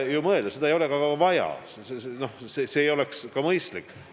Seda ei ole ka vaja, see ei oleks isegi mõistlik.